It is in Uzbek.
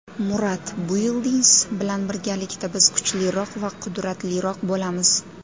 Murad Buildings bilan birgalikda biz kuchliroq va qudratliroq bo‘lamiz.